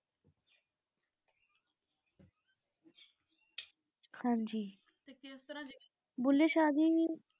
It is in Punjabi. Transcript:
ਹਾਂਜੀ ਤੇ ਕਿਸ ਤਰਹ ਜੇ ਭੁੱਲੇ ਸ਼ਾਹ ਦੀ